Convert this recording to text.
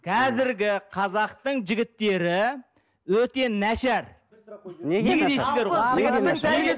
қазіргі қазақтың жігіттері өте нашар неге